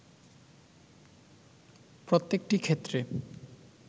প্রত্যেকটি ক্ষেত্রে